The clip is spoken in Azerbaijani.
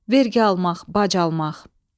Vergi almaq, bac almaq.